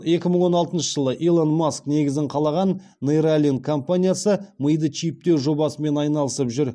екі мың он алтыншы жылы илон маск негізін қалаған нейралинк компаниясы миды чиптеу жобасымен айналысып жүр